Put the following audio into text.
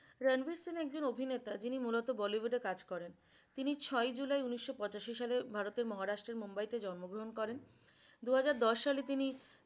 রানবির সিং একজন অভিনেতা যিনি মুলত bollywood এ কাজ করেন তিনি ছয়ই জুলাই উনিশশ পঁচাশি সালের ভারতের মহারাষ্ট্রের মুম্বাইতে জন্মগ্রহণ করেন। দুহাজার দশ সালে তিনি